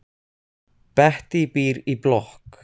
Bettý býr í blokk.